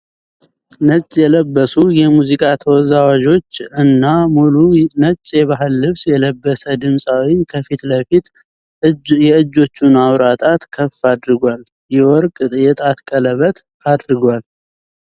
ነጭ የለበሱ የሙዚቃ ተወዛዋዦች እና ሙሉ ነጭ የባህል ልብስ የለበሰ ድምፃዊ ከፊት ለፊት የእጆቹን አዋራ ጣት ከፍ አድርጓል። የወርቅ የጣት ቀለበት አድርጓል።